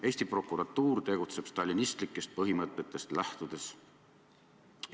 Eesti prokuratuur tegutseb stalinistlikest põhimõtetest lähtudes.